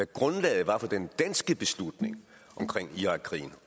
grundlaget var for den danske beslutning om irakkrigen